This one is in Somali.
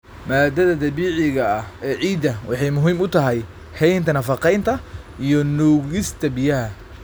Maaddada dabiiciga ah ee ciidda waxay muhiim u tahay haynta nafaqeynta iyo nuugista biyaha.